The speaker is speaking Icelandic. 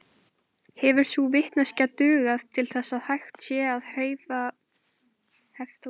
Hefur sú vitneskja dugað til þess að hægt sé að hefta útbreiðslu sumra þeirra.